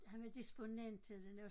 Han var disponent til den der hos